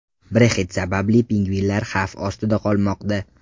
Brexit sababli pingvinlar xavf ostida qolmoqda.